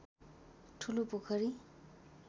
ठुलो पोखरी